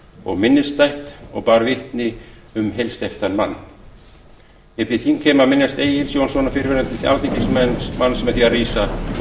og minnisstætt og bar vitni um heilsteyptan mann ég bið þingheim að minnast egils jónssonar fyrrverandi alþingismanns með því að